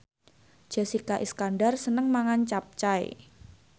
Jessica Iskandar seneng mangan capcay